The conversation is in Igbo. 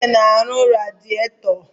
Uche ọ na-ere radịètọ tọ?